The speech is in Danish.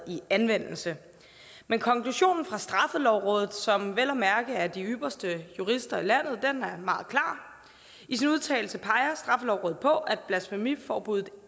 i anvendelse men konklusionen fra straffelovrådet som vel at mærke er de ypperste jurister i landet er meget meget klar i sin udtalelse peger straffelovrådet på at blasfemiforbuddet